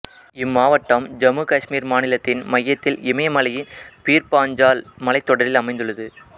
இம்மாவட்டம் ஜம்மு காஷ்மீர் மாநிலத்தின் மையத்தில் இமயமலையின் பீர்பாஞ்சால் மலைத்தொடரில் அமைந்துள்ளது